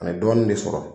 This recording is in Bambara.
A ye dɔɔnin de sɔrɔ